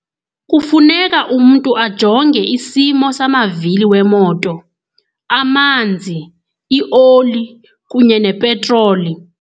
Kufuneka umntu ajonge isimo samavili wemoto, amanzi, ioli kunye nepetroli.